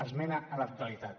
esmena a la totalitat